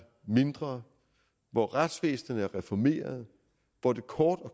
mindre hvor retsvæsenet er reformeret hvor det kort og